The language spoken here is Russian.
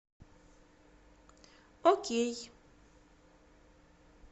окей